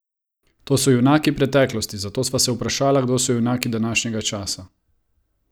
To so junaki preteklosti, zato sva se vprašala, kdo so junaki današnjega časa?